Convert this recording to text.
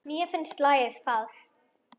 Mér finnst lagið falskt.